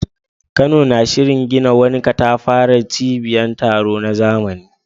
Kano na shirin gina wani katafaren cibiyar taro na zamani.